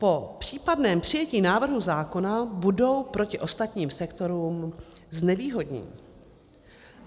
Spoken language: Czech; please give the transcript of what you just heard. Po případném přijetí návrhu zákona budou proti ostatním sektorům znevýhodněny.